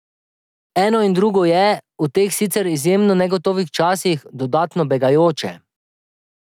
Eno in drugo je, v teh sicer izjemno negotovih časih, dodatno begajoče.